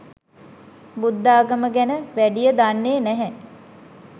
බුද්ධාගම ගැන වැඩිය දන්නේ නැහැ.